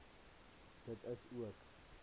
dit is ook